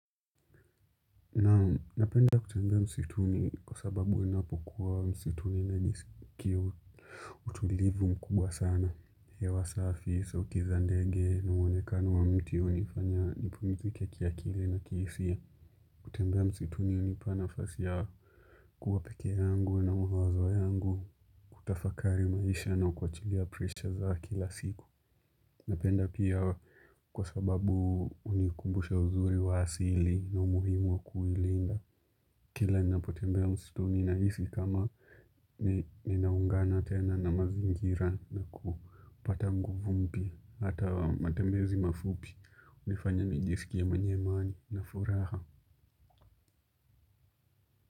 Naam na napenda kutembea msituni kwa sababu inapokuwa msituni utulivu mkubwa sana hewa safi sauti za ndege na muonekano wa mti hunifanya nipumizike kiakili na kihisiayKutembea msituni hunipa nafasi ya kuwa peke yangu na mawazo yangu kutafakari maisha na kuwachilia presha za kila siku. Napenda pia kwa sababu hunikumbusha uzuri wa asili na umuhimu wa kuilinda. Kila napotembea msituni na isi kama ninaungana tena na mazingira na kupata nguvu mpya hata matembezi mafupi hunifanya nijisikia mwenye imani na furaha.